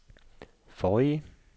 forrige